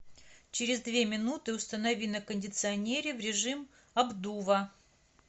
через две минуты установи на кондиционере в режим обдува